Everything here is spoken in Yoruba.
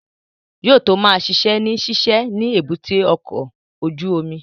Yóò tó ma ṣiṣẹ́ ní ṣíṣe ni èbúté ọkọ̀ ojú omi